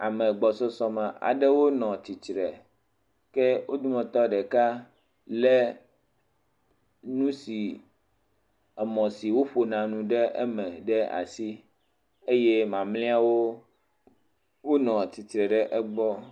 Ame gbɔsɔsɔ me aɖewo nɔ tsitre, ke wo dometɔ ɖeka lé nu si emɔ si woƒo na nu ɖe eme ɖe asieye mamleawo wonɔ atsitre ɖe egbɔ.